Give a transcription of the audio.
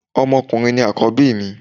Ọmọ ọkùnrin ni Àkọ́bí mi